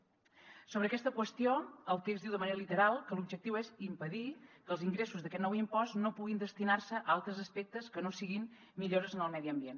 sobre aquesta qüestió el text diu de manera literal que l’objectiu és impedir que els ingressos d’aquest nou impost no puguin destinar se a altres aspectes que no siguin millores en el medi ambient